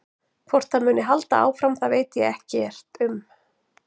Hvort það muni halda áfram það veit ég ekkert um.